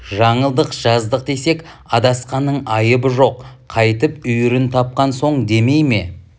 жаңылдық жаздық десек адасқанның айыбы жоқ қайтып үйірін тапқан соң демей ме